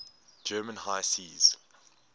german high seas